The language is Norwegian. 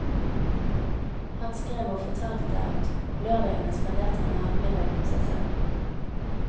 Han skrev og fortalte at om lørdagene spanderte han gjerne middag på seg selv.